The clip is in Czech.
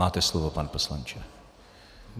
Máte slovo, pane poslanče.